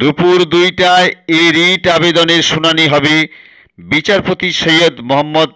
দুপুর দুইটায় এ রিট আবেদনের শুনানি হবে বিচারপতি সৈয়দ মোহাম্মদ